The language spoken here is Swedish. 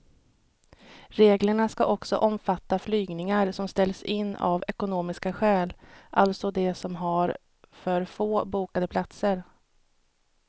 Reglerna ska också omfatta flygningar som ställs in av ekonomiska skäl, alltså de som har för få bokade platser.